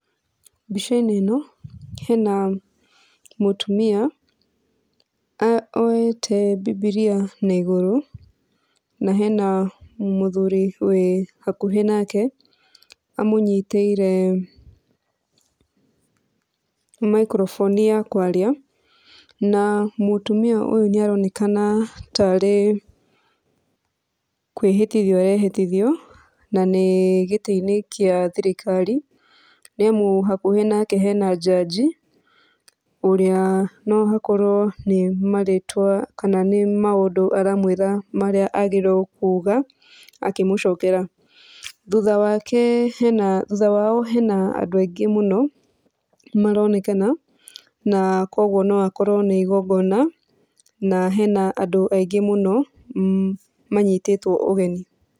Mbica-inĩ ĩno hena mũtumia oete mbibiria na igũrũ, na hena mũthuri wĩ hakuhĩ nake amũnyitĩire microphone ya kwaria. Na mũtumia ũyũ nĩaronekana tarĩ kwĩhĩtithio arehĩtithio na nĩ gĩtĩ-inĩ kĩa thirikari, nĩamu hakuhĩ nake hena jaji, ũrĩa no hakorwo nĩ marĩtwao kana nĩ maũndũ aramwĩra marĩa agĩrĩirwo kuga akĩmũcokera. Thutha wake hena thutha wao hena andũ aingĩ mũno maronekana, na kuoguo no akorwo nĩ igongona na hena andũ aingĩ mũno manyitĩtwo ũgeni.